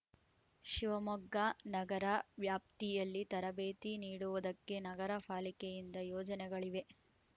ಶಿವಮೊಗ್ಗ ನಗರ ವ್ಯಾಪ್ತಿಯಲ್ಲಿ ತರಬೇತಿ ನೀಡುವುದಕ್ಕೆ ನಗರ ಫಾಲಿಕೆಯಿಂದ ಯೋಜನೆಗಳಿವೆ